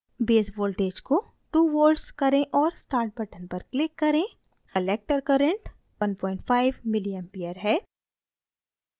base voltage को 2 volts करें और start button पर click करें collector current 15 ma है